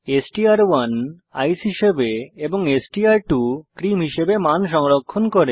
এসটিআর1 ice হিসাবে এবং এসটিআর2 ক্রিম হিসাবে মান সংরক্ষণ করে